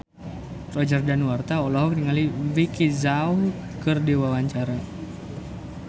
Roger Danuarta olohok ningali Vicki Zao keur diwawancara